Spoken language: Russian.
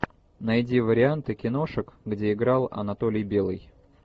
найди варианты киношек где играл анатолий белый